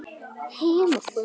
Ég þekki allt þetta lið.